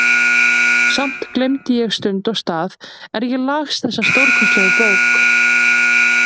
Samt gleymdi ég stund og stað er ég las þessa stórkostlegu bók.